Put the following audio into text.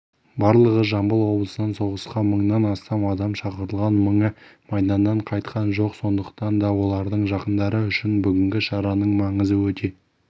барлығы жамбыл облысынан соғысқа мыңнан астам адам шақырылған мыңы майданнан қайтқан жоқ сондықтан да олардың жақындары үшін бүгінгі шараның маңызы өте